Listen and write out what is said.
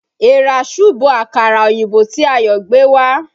Èèrà súbo àkàrà oyinbo tí Ayo gbé wá